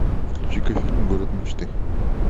включи ка фильм город мечты